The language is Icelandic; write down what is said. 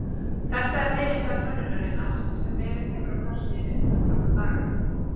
Þetta er niðurstaða könnunar sem verið hefur á forsíðunni undanfarna daga.